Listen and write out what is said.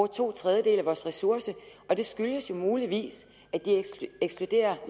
to tredjedele af vores ressourcer og det skyldes muligvis at de ekskluderer